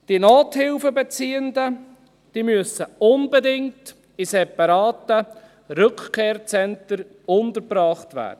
Die Nothilfebeziehenden müssen unbedingt in separaten Rückkehrzentren untergebracht werden.